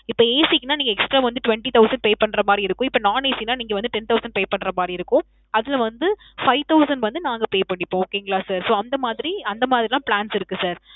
இப்போ AC க்குனா நீங்க extra வந்து twenty thousand pay பண்ற மாறி இருக்கும். இப்போ non AC னா நீங்க வந்து ten thousand pay பண்ற மாறி இருக்கும். அதுல வந்து five thousand வந்து நாங்க pay பண்ணிப்போம். okay ங்களா sir. so, அந்த மாதிரி, அந்த மாதிரிலாம் plans இருக்கு sir.